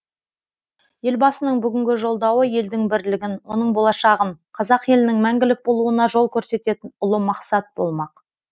елбасының бүгінгі жолдауы елдің бірлігін оның болашағын қазақ елінің мәңгілік болуына жол көрсететін ұлы мақсат болмақ